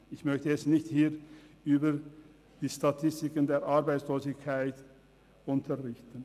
Ich möchte hier nicht über die Statistiken der Arbeitslosigkeit unterrichten.